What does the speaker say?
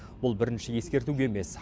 бұл бірінші ескерту емес